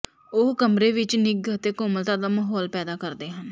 ਉਹ ਕਮਰੇ ਵਿਚ ਨਿੱਘ ਅਤੇ ਕੋਮਲਤਾ ਦਾ ਮਾਹੌਲ ਪੈਦਾ ਕਰਦੇ ਹਨ